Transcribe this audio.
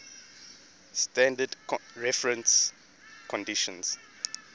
standard reference conditions